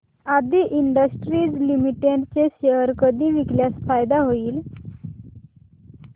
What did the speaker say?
आदी industries limited चे share कधी विकल्यास फायदा होईल